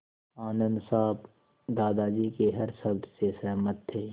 आनन्द साहब दादाजी के हर शब्द से सहमत थे